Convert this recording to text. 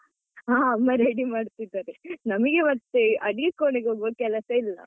ಹಾ ಅಮ್ಮ ready ಮಾಡ್ತಿದ್ದಾರೆ, ನಮಿಗೆ ಮತ್ತೆ ಅಡಿಗೆ ಕೋಣೆಗೆ ಹೋಗುವ ಕೆಲಸ ಇಲ್ಲ.